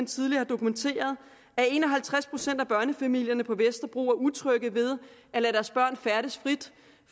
tidligere dokumenteret at en og halvtreds procent af børnefamilierne på vesterbro er utrygge ved at lade deres børn færdes frit